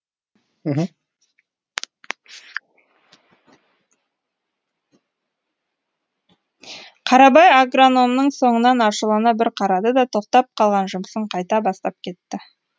қарабай агрономның соңынан ашулана бір қарады да тоқтап қалған жұмысын қайта бастап кетті